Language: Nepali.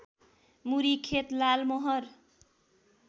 मुरी खेत लालमोहर